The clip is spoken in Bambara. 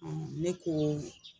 ne koo